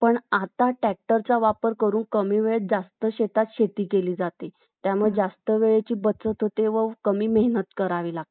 ठीक ए